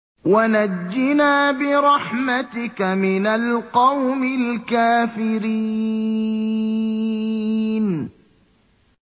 وَنَجِّنَا بِرَحْمَتِكَ مِنَ الْقَوْمِ الْكَافِرِينَ